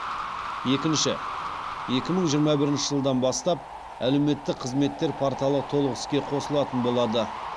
екінші екі мың жиырма бірінші жылдан бастап әлеуметтік қызметтер порталы толық іске қосылатын болады